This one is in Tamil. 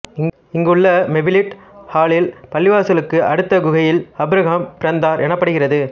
இங்கு உள்ள மெவ்லிட்ஐ ஹலில் பள்ளிவாசலுக்கு அடுத்த குகையில் ஆபிரகாம் பிறந்தார் எனப்படுகிறது